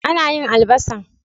Ana yin albasa.